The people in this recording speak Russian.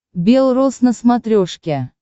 белрос на смотрешке